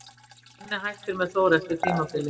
En Donni hættir með Þór eftir tímabilið.